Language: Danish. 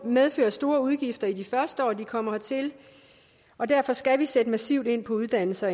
medfører store udgifter i de første år de kommer hertil og derfor skal vi sætte massivt ind på uddannelses og